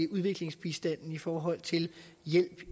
udviklingsbistanden i forhold til hjælp